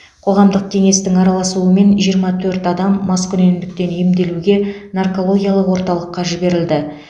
қоғамдық кеңестің араласуымен жиырма төрт адам маскүнемдіктен емделуге наркологиялық орталыққа жіберілді